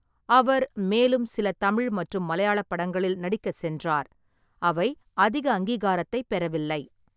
அவர் மேலும் சில தமிழ் மற்றும் மலையாள படங்களில் நடிக்கச் சென்றார், அவை அதிக அங்கீகாரத்தைப் பெறவில்லை.